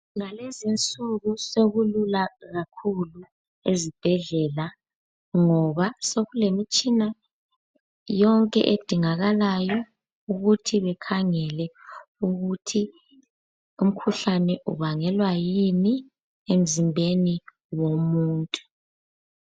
Ngalezi insuku sokulula kakhulu ezibhedlela ngoba sekulemitshina yonke edingakalayo, ukuthi ikhangele ukuthi umkhuhlane ubangelwa yini emzimbeni womuntu.